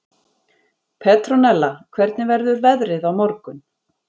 Petronella, hvernig verður veðrið á morgun?